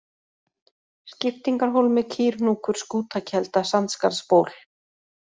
Skiptingarhólmi, Kýrhnúkur, Skútakelda, Sandskarðsból